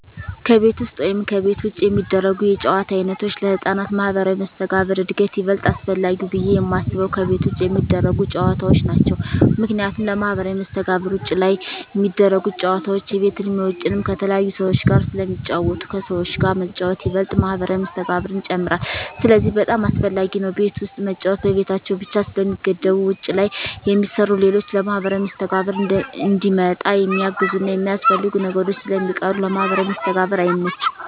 ከቤት ውስጥ ወይም ከቤት ውጭ የሚደረጉ የጨዋታ ዓይነቶች ለሕፃናት ማኅበራዊ መስተጋብር እድገት ይበልጥ አስፈላጊው ብየ የማስበው ከቤት ውጭ የሚደረጉ ጨዎታዎች ናቸው ምክንያቱም ለማህበራዊ መስተጋብር ውጭ ላይ ሚደረጉት ጨወታዎች የቤትንም የውጭንም ከተለያዩ ሰዎች ጋር ስለሚጫወቱ ከሰዎች ጋር መጫወት ይበልጥ ማህበራዊ መስተጋብርን ይጨምራል ስለዚህ በጣም አሰፈላጊ ነው ቤት ውስጥ መጫወት በቤታቸው ብቻ ስለሚገደቡ ውጭ ላይ የሚሰሩ ሌሎች ለማህበራዊ መስተጋብር እንዲመጣ የሚያግዙና የሚያስፈልጉ ነገሮች ስለሚቀሩ ለማህበራዊ መስተጋብር አይመችም።